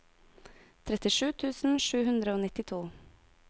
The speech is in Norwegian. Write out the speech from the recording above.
trettisju tusen sju hundre og nittito